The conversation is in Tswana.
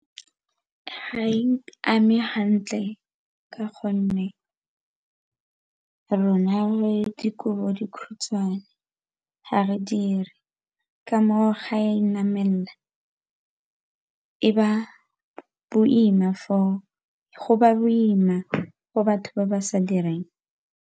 Ga e ame gantle ka gonne rona re dikobodikhutshwane ga re dire ke ka moo ga e namelela go ba boima go batho ba ba sa direng.